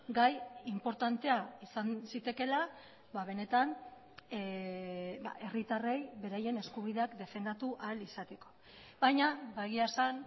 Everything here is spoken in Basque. gai inportantea izan zitekeela benetan herritarrei beraien eskubideak defendatu ahal izateko baina egia esan